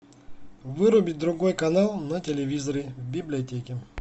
вырубить другой канал на телевизоре в библиотеке